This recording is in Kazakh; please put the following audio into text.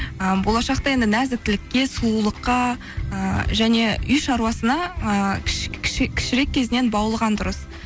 ы болашақта енді нәзіктілікке сұлулыққа ы және үй шаруасына ы кішірек кезінен баулыған дұрыс